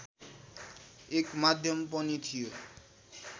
एक माध्यम पनि थियो